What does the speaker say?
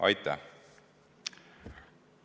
Aitäh!